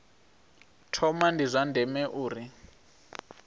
thoma ndi zwa ndeme uri